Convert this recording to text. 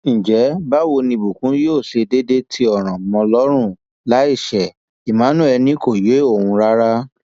ǹjẹ báwo ni ìbùkún yóò ṣe déédé tí ọràn mọ ọn lọrùn láì ṣe emmanuel ni kò yé òun rárá